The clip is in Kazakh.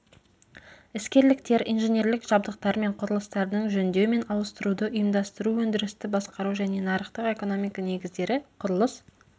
іскерліктер инженерлік жабдықтар мен құрылыстардың жөндеу мен ауыстыруды ұйымдастыру өндірісті басқару және нарықтық экономика негіздері құрылыс